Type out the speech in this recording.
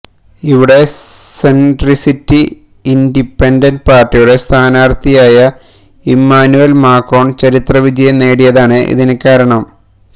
ഇവിടെ സെൻട്രിസ്റ്റി ഇന്റിപെന്റന്റ് പാർട്ടിയുടെ സ്ഥാനാർത്ഥിയായ ഇമാനുവൽ മാക്രോൺ ചരിത്ര വിജയം നേടിയതാണ് ഇതിന് കാരണം